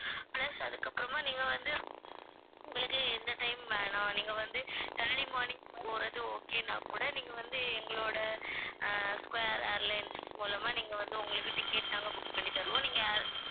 plus அதுக்கப்புறமா நீங்க வந்து உங்களுக்கு இந்த time வேணாம் நீங்க வந்து early morning போறது okay னா கூட நீங்க வந்து எங்களோட அஹ் ஸ்கொயர் ஏர்லைன்ஸ் மூலமா நீங்க வந்து உங்களுக்கு ticket நாங்க book பண்ணி தருவோம் நீங்க